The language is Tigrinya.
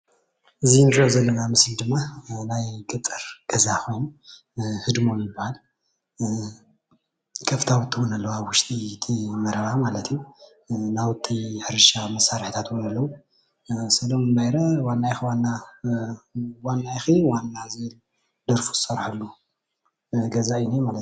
እዚ እንሪኦ ዘለና ኣብ ምስሊ ድማ ናይ ገጠር ገዛ ኮይኑ ህድሞ ይባሃል፡፡ ከፍታዊቲ እውን ኣለዋ ኣብ ውሽጢ እቲ መረባ ናውቲ ሕርሻ መሳርሕታት እውን ኣሎ፡፡ ሰሎሙን ባይሬ ዋኒ ኢኪ ዋና ዝብል ደርፊ ዝሰርሐሉ ገዛ እዩ ዝኒሄ፡፡